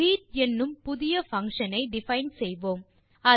greet என்னும் புதிய function ஐ டிஃபைன் செய்வோம்